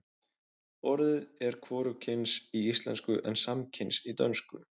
orðið er hvorugkyns í íslensku en samkyns í dönsku